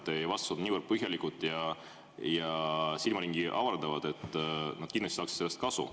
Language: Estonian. Teie vastused on niivõrd põhjalikud ja silmaringi avardavad, et nad kindlasti saaksid sellest kasu.